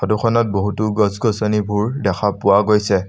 Photo খনত বহুতো গছ গছনিবোৰ দেখা পোৱা গৈছে।